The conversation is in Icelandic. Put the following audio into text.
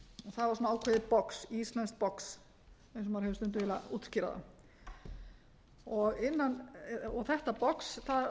það var svona ákveðið box íslenskt box eins og maður hefur stundum viljað útskýra það og þetta box það